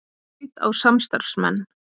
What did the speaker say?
Skaut á samstarfsmenn